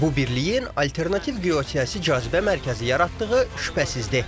Bu birliyin alternativ geosiyasi cazibə mərkəzi yaratdığı şübhəsizdir.